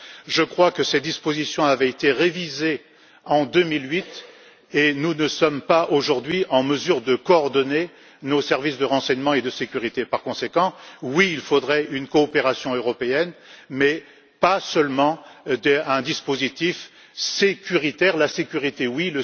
Je crois que ces dispositions avaient été révisées en 2008 et nous ne sommes pas aujourd'hui en mesure de coordonner nos services de renseignement et de sécurité. Par conséquent, oui, il faudrait une coopération européenne, mais pas seulement un dispositif sécuritaire. La sécurité, oui!